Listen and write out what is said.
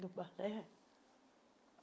Do balé?